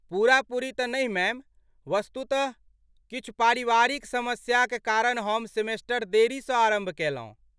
पूरा पूरी तँ नहि मैम। वस्तुतः, किछु पारिवारिक समस्याक कारण हम सेमेस्टर देरीसँ आरम्भ कयलहुँ।